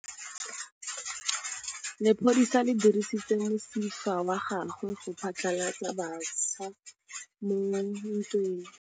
Lepodisa le dirisitse mosifa wa gagwe go phatlalatsa batšha mo ntweng.